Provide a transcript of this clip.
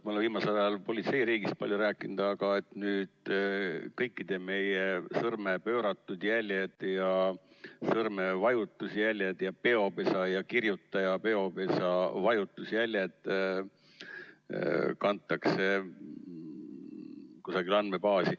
Ma olen viimasel ajal politseiriigist palju rääkinud, aga nüüd kõikide meie sõrmede pööratud jäljed ja sõrmevajutusjäljed ja peopesa ja kirjutaja peopesa vajutusjäljed kantakse kusagile andmebaasi.